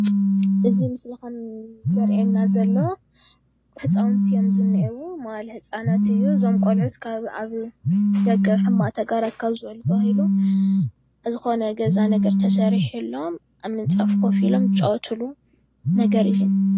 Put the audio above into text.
እዚ ምሰሊ ከም ዘረእየነና ዘሎ ህፃዉቲ ዝኒእዉ መዋእለ ህፃናት እዮ እዞም ቆልዑት ካብ አብ ደገ ሕማቅ ተግባራት ናበዚ በሉ ተባሂሎም ዝኽነ ገዛ ነገር ተስሪሒሎም አብ ምንፃፍ ከፍ ኢሎም ዝፃወትሉ ነገር እዩ፡፡